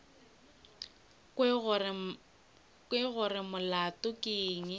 kwe gore molato ke eng